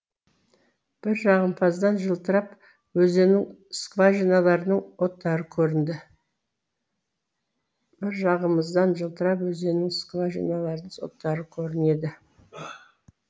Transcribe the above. бір жағымыздан жылтырап өзеннің скважиналарының оттары көрінеді